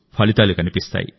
ఫలితాలు కనిపిస్తాయి